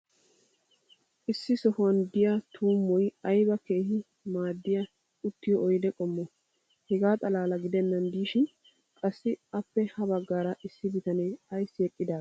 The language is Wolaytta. issi sohuwan diya tuummoy ayba keehi maadiya uttiyo oyde qommoo? hegaa xalaala gidennan diishshin qassi appe ha bagaara issi bitanee ayssi eqqidee?